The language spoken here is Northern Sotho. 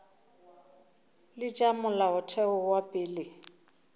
le tša molaotheo wa pele